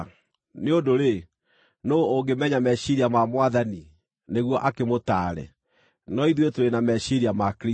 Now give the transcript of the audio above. “Nĩ ũndũ-rĩ, nũũ ũngĩmenya meciiria ma Mwathani, nĩguo akĩmũtaare?” No ithuĩ tũrĩ na meciiria ma Kristũ.